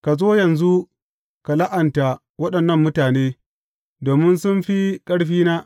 Ka zo yanzu ka la’anta waɗannan mutane, domin sun fi ƙarfina.